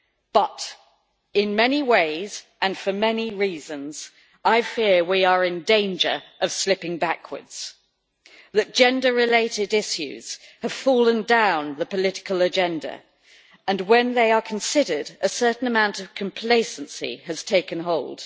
But, in many ways and for many reasons, I fear we are in danger of slipping backwards that gender related issues have fallen down the political agenda and, when they are considered, a certain amount of complacency has taken hold.